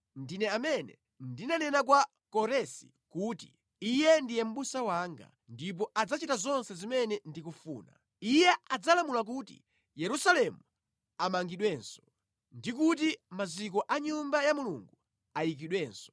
Ndine amene ndinanena kwa Koresi kuti, ‘Iye ndiye mʼbusa wanga,’ ndipo adzachita zonse zimene ndikufuna; iye adzalamula kuti, ‘Yerusalemu amangidwenso’ ndi kuti, ‘Maziko a Nyumba ya Mulungu ayikidwenso.’ ”